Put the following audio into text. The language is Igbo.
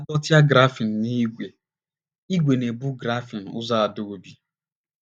A dọtịa grafịn na ígwè, ígwè na - ebu grafịn ụzọ adọbi.